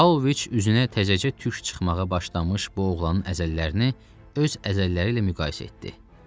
Paoviç üzünə təzəcə tük çıxmağa başlamış bu oğlanın əzələlərini öz əzələləri ilə müqayisə etdi.